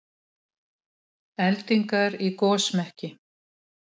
Eldingar í gosmekki